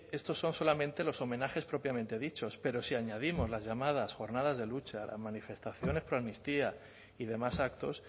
estos son solamente los homenajes propiamente dichos pero si añadimos las llamadas jornadas de lucha las manifestaciones proamnistía y demás actos